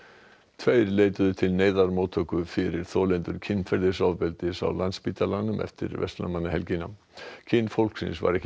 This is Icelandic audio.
tveir leituðu til neyðarmóttöku fyrir þolendur kynferðisofbeldis á Landspítalanum eftir verslunarmannahelgina kyn fólksins var ekki